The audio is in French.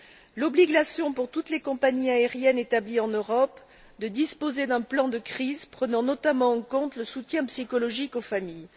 de l'obligation, pour toutes les compagnies aériennes établies en Europe, de disposer d'un plan de crise, prenant notamment en compte le soutien psychologique aux familles